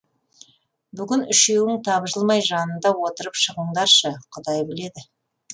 бүгін үшеуің тапжылмай жанында отырып шығыңдаршы құдай біледі